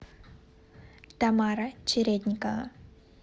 тамара чередникова